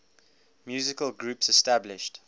musical groups established